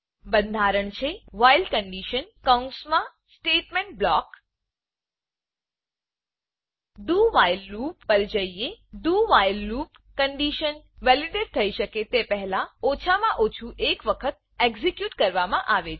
બંધારણ છે while while condition કૌંસમાં સ્ટેટમેંટ બ્લોક હવે dowhile loop do while loop પર જઈએ doવ્હાઇલ loopડુ વાઇલ લુપ કન્ડીશન વેલીડેટ થયી શકે તે પહેલા ઓછા માં ઓછું એક વખત એક્ઝેક્યુટ કરવામાં આવે છે